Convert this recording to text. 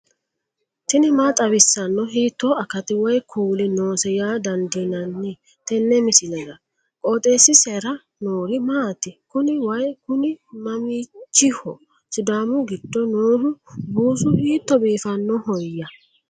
tini maa xawissanno ? hiitto akati woy kuuli noose yaa dandiinanni tenne misilera? qooxeessisera noori maati? kuni way kuni mamiichiho sidaamu giddo nooho buusu hiitto biifannohoyya